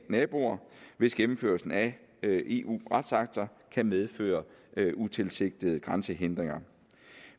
naboer hvis gennemførelsen af eu retsakter kan medføre utilsigtede grænsehindringer